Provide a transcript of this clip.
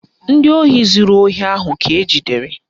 Ndị ohi zuru ohi ahụ ka ejidere